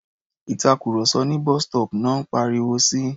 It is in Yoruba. Ìtàkurọ̀sọ ní bus-stop náà ń pariwo si.